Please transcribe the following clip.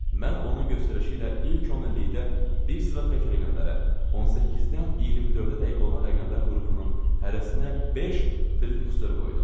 Mən onun göstərişi ilə ilk onillikdə bir sıra tək rəqəmlərə, 18-dən 24-ə dək olan rəqəmlər qrupunun hərəsinə beş Fridrixsdor qoydum.